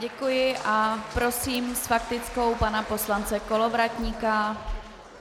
Děkuji a prosím s faktickou pana poslance Kolovratníka.